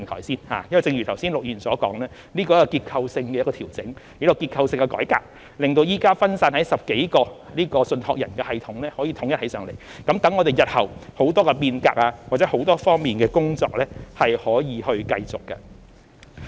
正如陸議員剛才所說，這是一個結構性的調整，亦是一個結構性的改革，令現時分散在10多個信託人的系統得以統一起來，讓我們日後在很多方面的變革或很多方面的工作得以繼續進行。